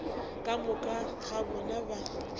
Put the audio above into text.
ka moka ga bona ba